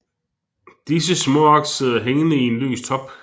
Disse småaks sidder hængende i en løs top